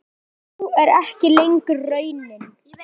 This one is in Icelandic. Sú er ekki lengur raunin.